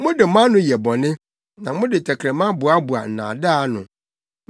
Mode mo ano yɛ bɔne, na mode mo tɛkrɛma boaboa nnaadaa ano.